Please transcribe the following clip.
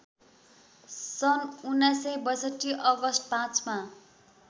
सन् १९६२ अगस्ट ५ मा